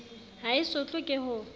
ha e sotlwe ke ho